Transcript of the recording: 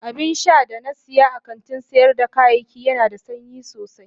Abinsha da na siya a kantin sayar da kayayyaki Yana da sanyi sosai.